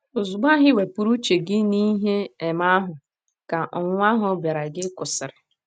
Ozugbo ahụ i wepụrụ uche gị n’ihe um ahụ, ka ọnwụnwa ahụ bịaara gị kwụsịrị. um